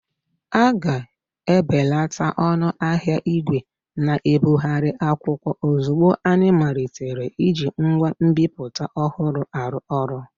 A ga-ebelata ọnụ ahịa ìgwè na-ebigharị akwụkwọ ozugbo anyị malitere iji ngwa nbipute ọhụrụ arụ ọrụ.